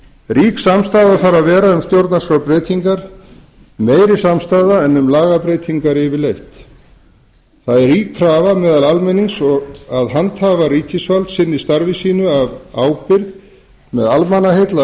rík samstaða þarf að vera um stjórnarskrárbreytingar meiri samstaða en um lagabreytingar yfirleitt það er rík krafa meðal almennings að handhafar ríkisvalds sinni starfi sínu af ábyrgð með almannaheill að